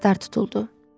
Yaslar tutuldu.